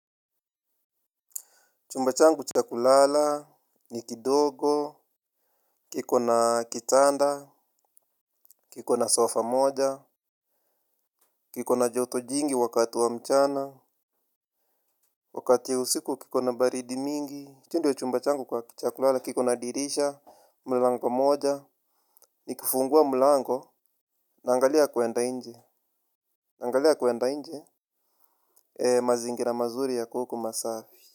Chumba changu cha kulala ni kidogo kiko na kitanda kiko na sofa moja kiko na joto jingi wakati wa mchana wakati ya usiku kiko na baridi mingi. Tu chumba changu kwa cha kulala, kiko na dirisha, mlango moja, nikifungua mlango, naangalia kuenda inje, naangalia kuenda inje. Mazingira mazuri yako huko masafi.